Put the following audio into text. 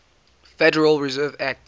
federal reserve act